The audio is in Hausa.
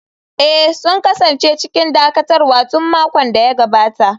Eh, sun kasance cikin dakatarwa tun makon da ya gabata.